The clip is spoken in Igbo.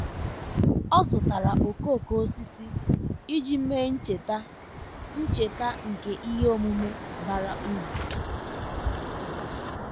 ọ́ zụ́tàrà okooko osisi iji mèé ncheta ncheta nke ihe omume bara uru.